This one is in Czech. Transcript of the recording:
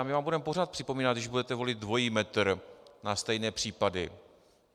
A my vám budeme pořád připomínat, když budete volit dvojí metr na stejné případy.